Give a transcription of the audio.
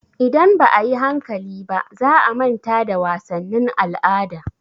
Idan ba a yi hankali ba, za a manta da wasannin al'ada.